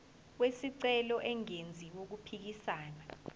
wesicelo engenzi okuphikisana